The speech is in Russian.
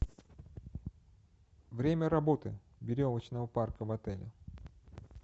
время работы веревочного парка в отеле